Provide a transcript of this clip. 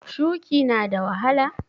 Shuƙi na da wahala?